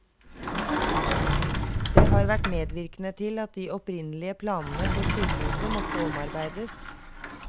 Det har vært medvirkende til at de opprinnelige planene for sykehuset måtte omarbeides.